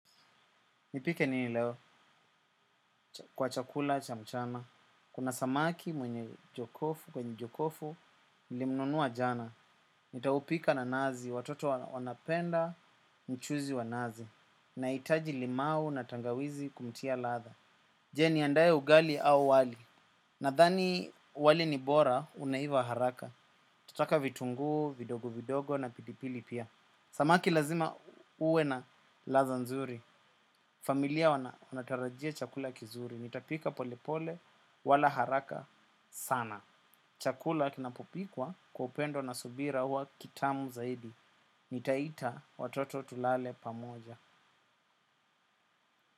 Nipike nini leo kwa chakula cha mchana. Kuna samaki mwenye jokofu, kwenye jokofu, nilimnunua jana. Nitaupika na nazi, watoto wanapenda, mchuzi wa nazi. Nahitaji limau na tangawizi kumtia ladha. Je, niandae ugali au wali? Nadhani wali ni bora, unaiva haraka. Tutaka vitungu vidogo vidogo na pilipili pia. Samaki lazima uwe na ladha nzuri. Familia wanatarajia chakula kizuri. Nitapika pole pole wala haraka sana. Chakula kinapopikwa kwa upendo na subira huwa kitamu zaidi. Nitaita watoto tulale pamoja.